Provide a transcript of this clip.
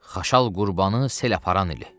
Xaşal Qurbanı sel aparan ili.